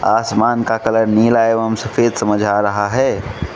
आसमान का कलर नीला एवं सफेद समझ आ रहा है।